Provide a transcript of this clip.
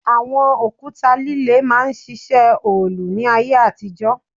Àwọn òkúta líle máa ń ṣiṣẹ́ òòlù ní ayé àtijọ́